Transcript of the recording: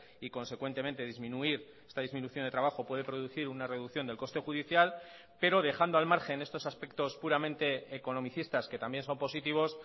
y consecuentemente disminuir esta disminución de trabajo puede producir una reducción del coste judicial pero dejando al margen estos aspectos puramente economicistas que también son positivos